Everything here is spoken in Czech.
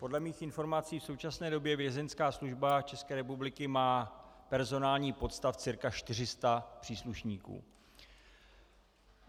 Podle mých informací v současné době Vězeňská služba České republiky má personální podstav cca 400 příslušníků.